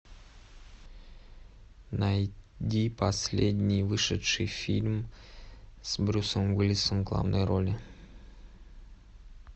найди последний вышедший фильм с брюсом уиллисом в главной роли